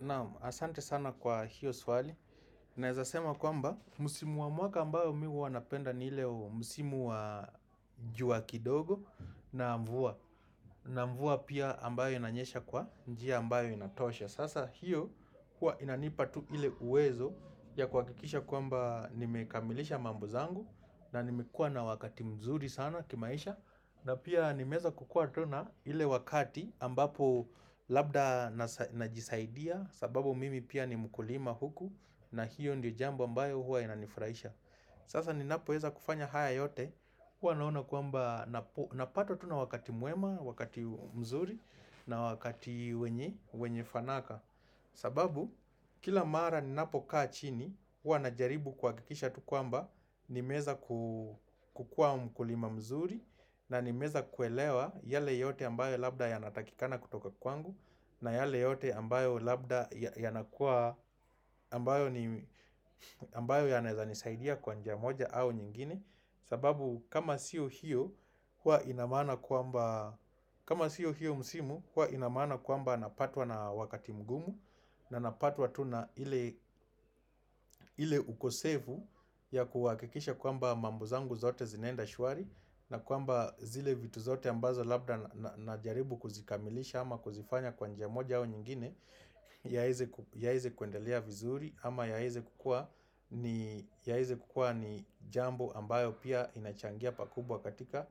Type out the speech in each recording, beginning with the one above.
Naam, asante sana kwa hiyo swali Naweza sema kwamba msimu wa mwaka ambayo mimi huwa napenda ni ile msimu wa jua kidogo na mvua pia ambayo inanyesha kwa njia ambayo inatosha. Sasa hiyo kuwa inanipa tu ile uwezo ya kuhakikisha kwamba nimekamilisha mambo zangu na nimekuwa na wakati mzuri sana kimaisha na pia nimeweza kukuwa tu na ile wakati ambapo labda najisaidia sababu mimi pia ni mkulima huku na hiyo ndiyo jambo ambayo huwa inanifurahisha Sasa ninapoweza kufanya haya yote huwa naona kwamba napatwa tu na wakati mwema, wakati mzuri na wakati wenye fanaka sababu kila mara ninapokaa chini huwa najaribu kuhakikisha tu kwamba Nimeweza kukuwa mkulima mzuri na nimeweza kuelewa yale yote ambayo labda yanatakikana kutoka kwangu na yale yote ambayo labda yanakuwa ambayo yanaweza nisaidia kwa njia moja au nyingine sababu kama sio hiyo huwa ina maana kwamba kama sio hiyo msimu huwa ina maana kwamba napatwa na wakati mgumu na napatwa tu na ile ile ukosefu ya kuwakikisha kwamba mambo zangu zote zinaenda shwari na kwamba zile vitu zote ambazo labda najaribu kuzikamilisha ama kuzifanya kwa njia moja au nyingine yaweze kuendelea vizuri ama yaweze kukuwa ni jambo ambayo pia inachangia pakubwa katika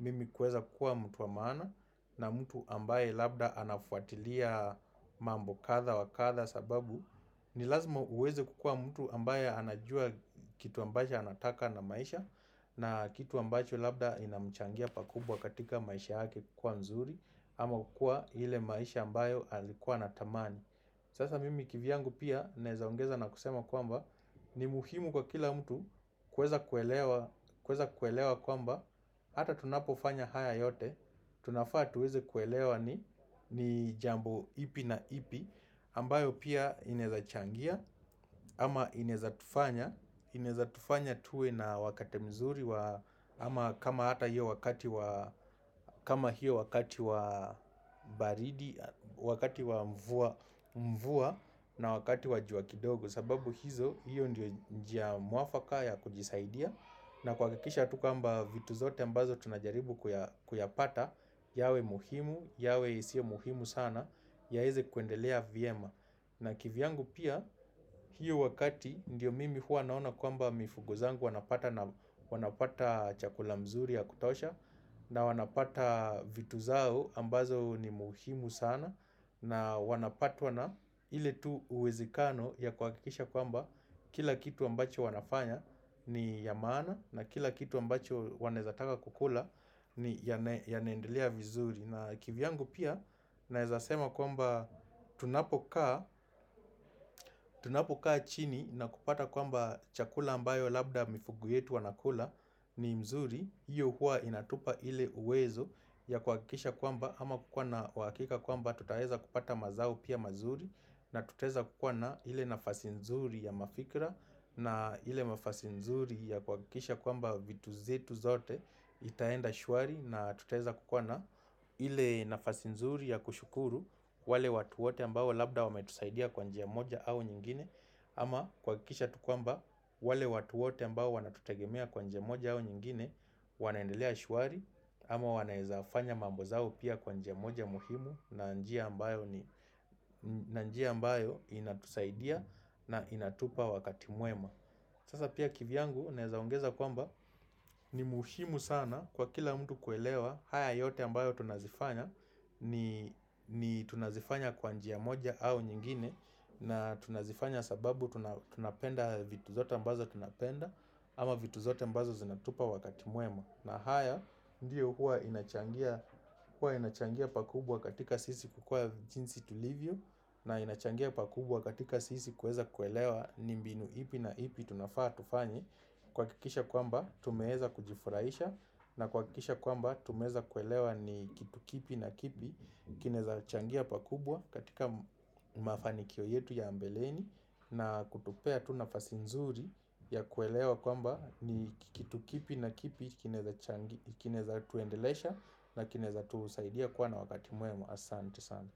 mimi kuweza kukuwa mtu wa maana na mtu ambaye labda anafuatilia mambo kadha wa kadha sababu ni lazima uweze kukuwa mtu ambaye anajua kitu ambacho anataka na maisha na kitu ambayo labda inamchangia pakubwa katika maisha yake kukuwa mzuri ama kukuwa ile maisha ambayo alikuwa anatamani Sasa mimi kivyangu pia naweza ongeza na kusema kwamba ni muhimu kwa kila mtu kuweza kuelewa kwamba hata tunapofanya haya yote, tunafaa tuweze kuelewa ni jambo ipi na ipi ambayo pia inaweza changia ama inaweza tufanya tuwe na wakati mzuri ama kama hata hiyo wakati wa baridi Wakati wa mvua na wakati wa jua kidogo sababu hiyo ndio njia mwafaka ya kujisaidia na kuhakikisha tu kwamba vitu zote ambazo tunajaribu kuyapata yawe muhimu, yawe isiyo muhimu sana yaweze kuendelea vyema na kivyangu pia, hiyo wakati ndio mimi huwa naona kwamba mifugo zangu wanapata chakula mzuri ya kutosha na wanapata vitu zao ambazo ni muhimu sana na wanapatwa na ile tu uwezekano ya kuhakikisha kwamba kila kitu ambacho wanafanya ni ya amana na kila kitu ambacho wanaweza taka kukula yanaendelea vizuri na kivyangu pia naweza sema kwamba tunapokaa tunapokaa chini na kupata kwamba chakula ambayo Labda mifugo yetu wanakula ni mzuri hiyo huwa inatupa ile uwezo ya kuhakikisha kwamba ama kukuwa na uhakika kwamba tutaweza kupata mazao pia mazuri Natuteza kukuwa na ile nafasi nzuri ya mafikra na ile nafasi nzuri ya kuhakikisha kwamba, vitu zetu zote zitaenda shwari na tutaweza kukuwa na ile nafasi nzuri ya kushukuru wale watu wote ambao labda wametusaidia kwa njia moja au nyingine, ama kuhakikisha tu kwamba wale watu wote ambao wanatutegemea kwa njia moja au nyingine Wanaendelea shwari ama wanaweza fanya mambo zao pia kwa njia moja muhimu na njia ambayo ni njia ambao inatusaidia na inatupa wakati mwema Sasa pia kivyangu naweza ongeza kwamba ni muhimu sana kwa kila mtu kuelewa haya yote ambayo tunazifanya ni tunazifanya kwa njia moja au nyingine na tunazifanya sababu tunapenda vitu zote ambazo tunapenda ama vitu zote ambazo zinatupa wakati mwema na haya ndiyo huwa inachangia pakubwa katika sisi kukuwa jinsi tulivyo na inachangia pakubwa katika sisi kuweza kuelewa ni mbinu ipi na ipi tunafaa tufanye kuhakikisha kwamba tumeweza kujifuraisha na kuhakikisha kwamba tumeweza kuelewa ni kitu kipi na kipi kinaweza changia pa kubwa katika mafanikio yetu ya mbeleni na kutupea tu nafasi nzuri ya kuelewa kwamba ni kitu kipi na kipi kinaweza tuendelesha na kinaweza tusaidia kuwa na wakati mwema. Asanti sana.